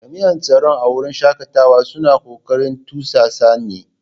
Jami'an tsaro a wurin shakatawa suna kokarin tursasa ni.